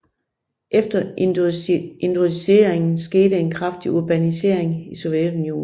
Efter industrialiseringen skete en kraftig urbanisering i Sovjetunionen